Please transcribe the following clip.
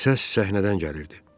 Səs səhnədən gəlirdi.